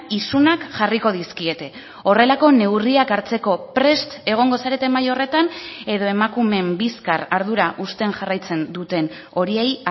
isunak jarriko dizkiete horrelako neurriak hartzeko prest egongo zarete mahai horretan edo emakumeen bizkar ardura uzten jarraitzen duten horiei